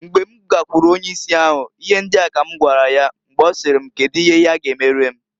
Mgbe m gakwuru onye isi ahu, ihe ndia ka m gwara ya mgbe ọsịrị m kedu ihe ya ga emere m.